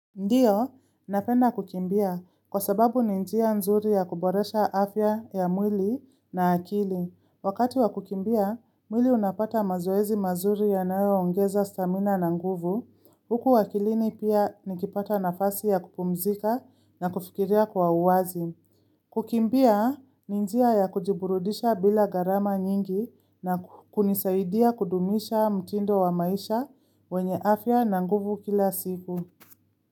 Ndiyo, napenda kukimbia kwa sababu ni njia nzuri ya kuboresha afya ya mwili na akili. Wakati wa kukimbia, mwili unapata mazoezi mazuri yanayoongeza stamina na nguvu. Huku akilini pia nikipata nafasi ya kupumzika na kufikiria kwa uwazi. Kukimbia, ni njia ya kujiburudisha bila garama nyingi na kunisaidia kudumisha mtindo wa maisha wenye afya na nguvu kila siku.